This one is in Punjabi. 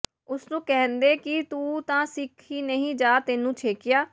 ਉਸ ਨੂੰ ਕਹਿੰਦੇ ਕਿ ਤੂੰ ਤਾਂ ਸਿੱਖ ਹੀ ਨਹੀਂ ਜਾ ਤੈਨੂੰ ਛੇਕਿਆ